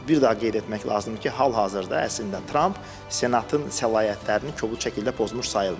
Bir daha qeyd etmək lazımdır ki, hal-hazırda əslində Tramp senatın səlahiyyətlərini kobud şəkildə pozmuş sayılmır.